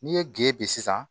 N'i ye gese